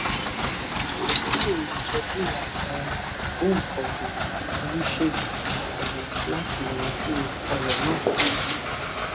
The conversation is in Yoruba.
ó nílò ìtọjú àwọn ògbóǹkangí oníṣègùn ọpọlọ láti yanjú ọràn náà